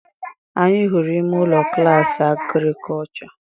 Anyị hụrụ ime ụlọ klaasị Agrikọlchọ